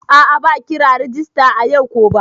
A'a ba kira rajista ayau ko ba.